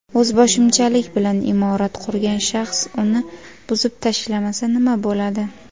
O‘zboshimchalik bilan imorat qurgan shaxs uni buzib tashlamasa nima bo‘ladi?.